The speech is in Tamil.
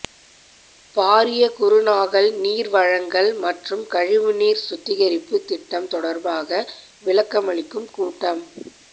பாரிய குருநாகல் நீர் வழங்கல் மற்றும் கழிவுநீர் சுத்திகரிப்பு திட்டம் தொடர்பாக விளக்கமளிக்கும் கூட்டம்